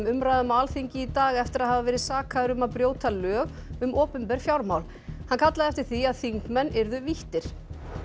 umræðum á Alþingi í dag eftir að hafa verið sakaður um að brjóta lög um opinber fjármál hann kallaði eftir því að þingmenn yrðu víttir